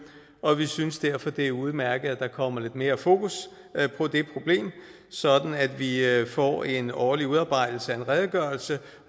og vi synes derfor det er udmærket at der kommer lidt mere fokus på det problem sådan at vi at vi får en årlig udarbejdelse af en redegørelse